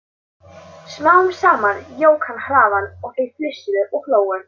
Smám saman jók hann hraðann og þau flissuðu og hlógu.